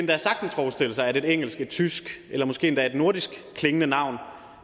jo sagtens forestille sig at et engelsk et tysk eller måske et nordisk klingende navn